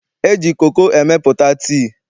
E ji koko emepụta tii.